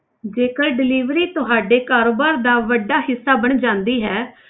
ਜੇਕਰ delivery ਤੁਹਾਡੇ ਕਾਰੋਬਾਰ ਦਾ ਵੱਡਾ ਹਿੱਸਾ ਬਣ ਜਾਂਦੀ ਹੈ,